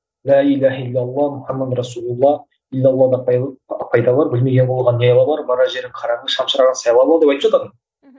лә иләһә иллә алла мухаммадур расулулла иллә алла да пайда бар білмеген құлда не айла бар барар жерің қараңғы шамшырағыңды сайлап ал деп айтып жататын